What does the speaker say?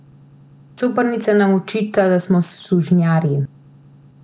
Coprnica nam očita, da smo sužnjarji.